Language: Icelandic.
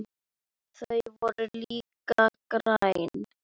Þau voru líka græn.